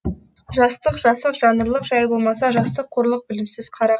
жастық жасық жаңырлық жай болмаса жастық қорлық білімсіз қара